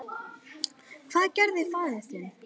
Hvað gerði faðir þinn?